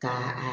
Ka a